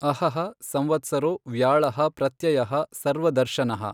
ಅಹಃ ಸಂವತ್ಸರೊ ವ್ಯಾಳಃ ಪ್ರತ್ಯಯಃ ಸರ್ವದರ್ಶನಃ।